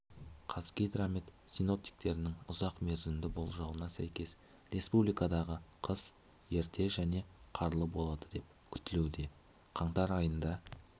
қазгидромет синоптиктерінің ұзақ мерзімді болжауына сәйкес республикадағы қыс ерте және қарлы болады деп күтілуде қаңтар айында